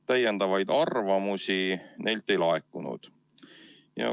Täiendavaid arvamusi neilt ei laekunud.